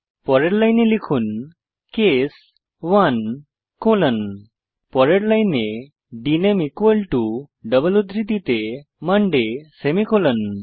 পরের লাইনে লিখুন কেস 1 কোলন পরের লাইনে ডিএনএমই ইকুয়াল টো ডাবল উদ্ধৃতিতে মন্ডে সেমিকোলন